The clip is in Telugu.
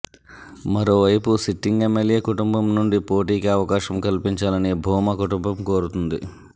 మరో వైపు సిట్టింగ్ ఎమ్మెల్యే కుటుంబం నుండి పోటీకి అవకాశం కల్పించాలని భూమా కుటుంబం కోరుతోంది